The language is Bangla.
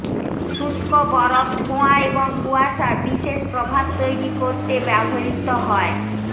শুষ্ক বরফ ধোঁয়া এবং কুয়াশা বিশেষ প্রভাব তৈরি করতে ব্যবহৃত হয়